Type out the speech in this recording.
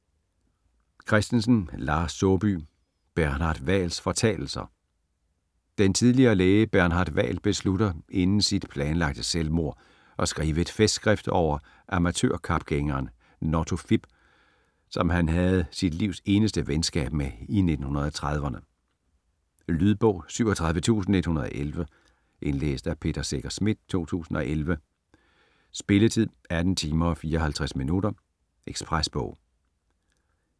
Christensen, Lars Saabye: Bernhard Hvals fortalelser Den tidligere læge Bernhard Hval beslutter inden sit planlagte selvmord at skrive et festskrift over amatørkapgængeren Notto Fipp, som han havde sit livs eneste venskab med i 1930'erne. Lydbog 37111 Indlæst af Peter Secher Schmidt, 2011. Spilletid: 18 timer, 54 minutter. Ekspresbog